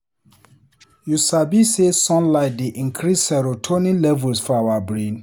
You sabi sey sunlight dey increase serotonin levels for our brain?